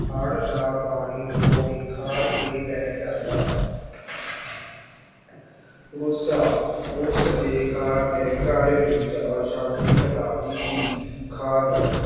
ਹੜ ਦਾ ਪਾਣੀ ਭੂਮੀ ਖਾਰ ਕੇ ਲੈ ਜਾਂਦਾ ਗੁੱਸਾ ਉਸਦੇ ਖਾਰ ਨੇ ਘਰ ਵਿੱਚ ਅਸ਼ਾਂਤੀ ਫੈਲਾ ਦਿੱਤੀ, ਖਾਦ